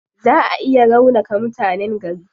Zaa a iya raunaka mutanen gari.